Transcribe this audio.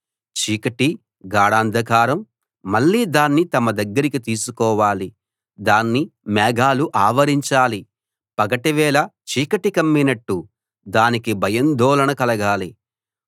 చీకటి గాఢాంధకారం మళ్ళీ దాన్ని తమ దగ్గరికి తీసుకోవాలి దాన్ని మేఘాలు ఆవరించాలి పగటివేళ చీకటి కమ్మినట్టు దానికి భయాందోళన కలగాలి